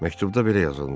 Məktubda belə yazılmışdı.